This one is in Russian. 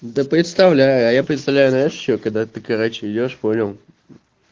да представляя представляя ещё когда ты короче идёшь понял